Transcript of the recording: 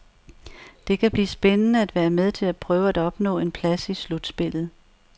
Det kan blive spændende at være med til at prøve at opnå en plads i slutspillet.